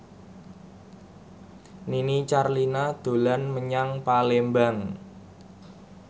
Nini Carlina dolan menyang Palembang